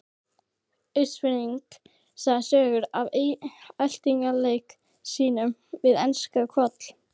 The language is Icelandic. Austfirðing segja sögur af eltingaleik sínum við enska Koll.